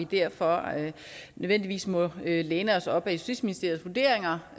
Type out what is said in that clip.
vi derfor nødvendigvis må læne os op ad justitsministeriets vurderinger